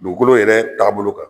Dugukolo yɛrɛ tagaa bolo kan.